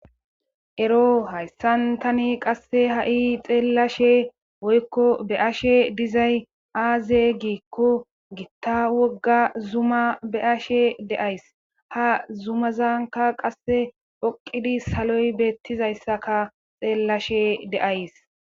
Ero hayssan tani qasse ha7i xeelashe woykko be ashe dizay aaze giikko gitta wogga zuma be ashe deays ha zumazanka qasse phoqidi saloy beettizayssaka xeellashe deays.